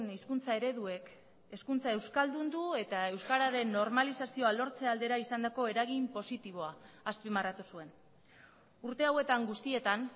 hizkuntza ereduek hezkuntza euskaldundu eta euskararen normalizazioa lortze aldera izandako eragin positiboa azpimarratu zuen urte hauetan guztietan